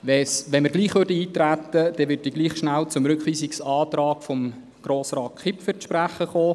Für den Fall, dass wir trotzdem eintreten, würde ich trotzdem kurz auf den Rückweisungsantrag von Grossrat Kipfer zu sprechen kommen.